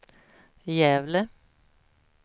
Gävle